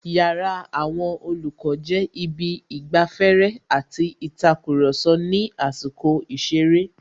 Yàrá àwon Olòkó jé Ibi īgbaféré àti ītakùròso ní àsīkò īseré